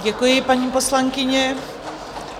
Děkuji, paní poslankyně.